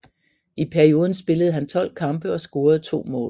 I perioden spillede han 12 kampe og scorede 2 mål